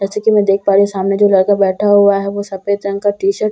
जैसे की मैं देख पा रही हूँ सामने जो लड़का बैठा हुआ है वो सफ़ेद रंग का टी-शर्ट औ--